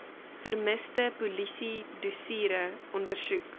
vermiste polisiedossiere ondersoek